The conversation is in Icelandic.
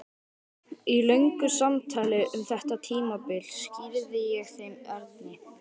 Í löngu samtali um þetta tímabil skýrði ég þeim Erni